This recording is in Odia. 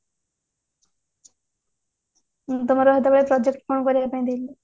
ହଁ ତମର ସେତେବେଳେ project କଣ କରିବା ପାଇଁ ଦେଇଥିଲେ